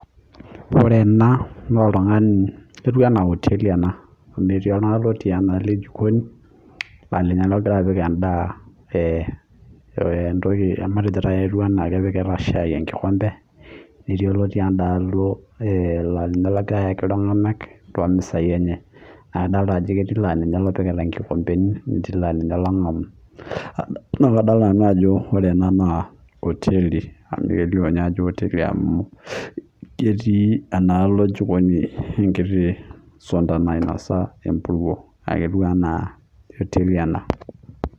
Ore ena naa oteli amuu etii oltunani ogira apiku shai aett sii oltungani ookito shaai naa kitodolu sii ajo oteli amuu ketii esuntai naijo kinosa empuruo